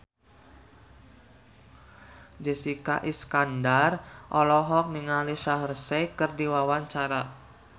Jessica Iskandar olohok ningali Shaheer Sheikh keur diwawancara